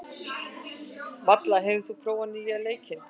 Malla, hefur þú prófað nýja leikinn?